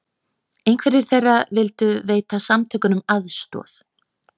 Einhverjir þeirra vildu veita samtökunum aðstoð